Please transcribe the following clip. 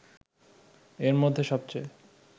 এর মধ্যে সবচেয়ে